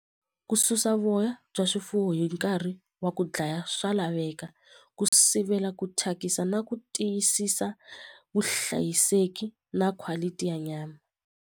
Ku susa voya bya swifuwo hi nkarhi wa ku dlaya swa laveka ku sivela ku thyakisa na ku tiyisisa vuhlayiseki na quality ya nyama.